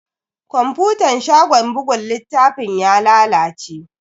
Kwafutan shagon buga littafin ya lalace.